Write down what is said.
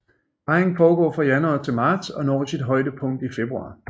Parringen foregår fra januar til marts og når sit højdepunkt i februar